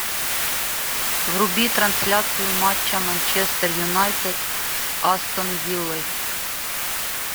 вруби трансляцию матча манчестер юнайтед с астон виллой